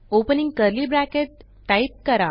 opening curly brace type करा